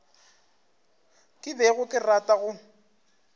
ke bego ke rata go